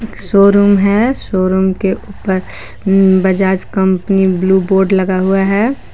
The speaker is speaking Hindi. शोरूम है शोरूम के उपर उम बजाज कंपनी ब्ल्यू बोर्ड लगा हुआ है।